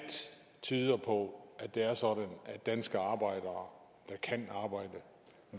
tyder på at det er sådan at danske arbejdere der kan arbejde